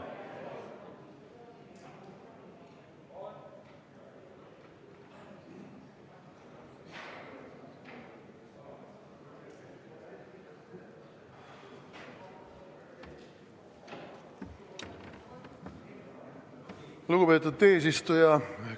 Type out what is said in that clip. Lugupeetud eesistuja!